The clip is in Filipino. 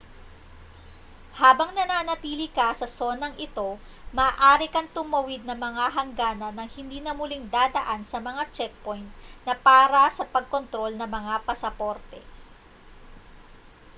habang nananatili ka sa sonang ito maaari kang tumawid ng mga hangganan nang hindi na muling dadaan sa mga checkpoint na para sa pagkontrol ng mga pasaporte